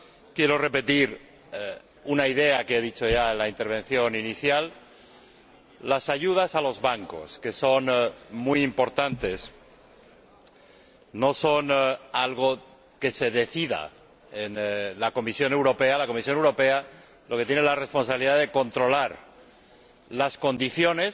Quiero repetir una idea que ya he mencionado en la intervención inicial las ayudas a los bancos, que son muy importantes, no son algo que se decida en la Comisión Europea. La Comisión Europea lo que tiene es la responsabilidad de controlar las condiciones